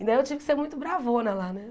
E daí eu tive que ser muito bravona lá, né?